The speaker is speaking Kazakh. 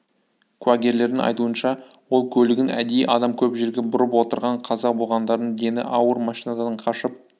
куәгерлердің айтуынша ол көлігін әдейі адам көп жерге бұрып отырған қаза болғандардың дені ауыр машинадан қашып